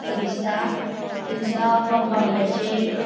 ये दिसता तीचा कम्पाउन्डचेर --